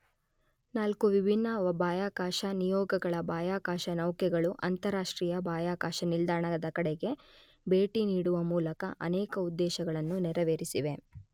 ನಾಲ್ಕು ವಿಭಿನ್ನ ಬಾಹ್ಯಾಕಾಶ ನಿಯೋಗಗಳ ಬಾಹ್ಯಾಕಾಶನೌಕೆಗಳು ಅಂತರರಾಷ್ಟ್ರೀಯ ಬಾಹ್ಯಾಕಾಶ ನಿಲ್ದಾಣದ ಗೆ ಭೇಟಿನೀಡುವ ಮೂಲಕ ಅನೇಕ ಉದ್ದೇಶಗಳನ್ನು ನೆರವೇರಿಸಿವೆ.